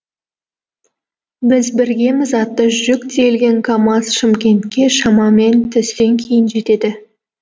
біз біргеміз атты жүк тиелген камаз шымкентке шамамен түстен кейін жетеді